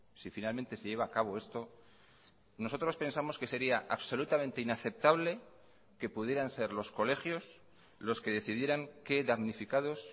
si finalmente se lleva a cabo esto nosotros pensamos que sería absolutamente inaceptable que pudieran ser los colegios los que decidieran qué damnificados